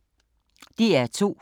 DR2